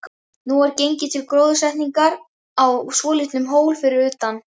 Nú er gengið til gróðursetningar á svolitlum hól fyrir utan